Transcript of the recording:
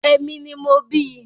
Èmi ni mo bíi